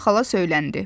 Enna xala söyləndi.